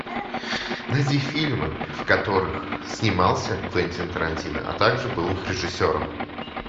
найди фильмы в которых снимался квентин тарантино а также был их режиссером